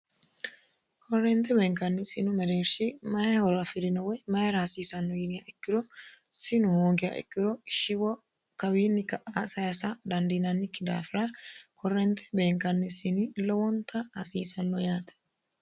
korrente beenkanni sinu mereerhshi maye horo afirino woy mayiira hasiisanno yiniha ikkiro sinu hoogiya ikkiro shiwo kawiinni ka'a sayiisa dandiinannikki daafira korrente beenkanni sini lowonta hasiisanno yaate